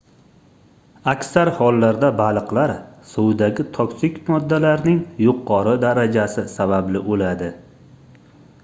aksar holatlarda baliqlar suvdagi toksik moddalarning yuqori darajasi sababli oʻladi